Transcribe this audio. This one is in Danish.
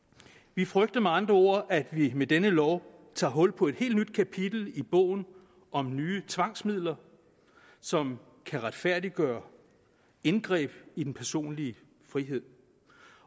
vi frygter med andre ord at vi med denne lov tager hul på et helt nyt kapitel i bogen om nye tvangsmidler som kan retfærdiggøre indgreb i den personlige frihed